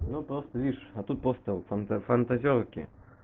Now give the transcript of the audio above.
ну постишь а тут поставил фантазёрки